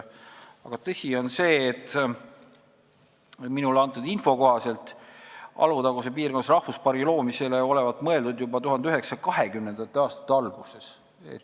Tõsi on see, et minule antud info kohaselt olevat Alutaguse piirkonnas rahvuspargi loomisele mõeldud juba 1920. aastate alguses.